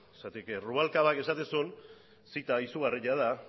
zergatik rubalcabak esaten zuen zita izugarria da